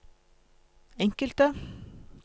enkelte